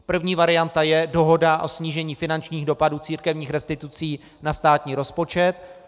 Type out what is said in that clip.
První varianta je dohoda o snížení finančních dopadů církevních restitucí na státní rozpočet.